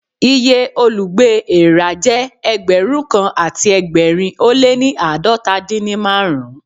Iye olùgbé èèrà jẹ́ Ẹgbẹ̀rún kan àti ẹgbẹ̀rin ó lé ní àádọ́ta dín ní márùn-ún.